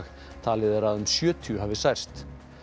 talið er að um sjötíu hafi særst